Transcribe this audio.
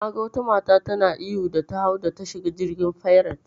Naga wata mata tana ihu da ta hau da ta shiga jirgin fairet.